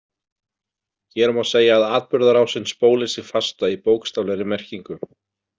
Hér má segja að atburðarásin spóli sig fasta í bókstaflegri merkingu.